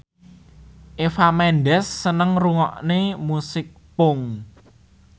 Eva Mendes seneng ngrungokne musik punk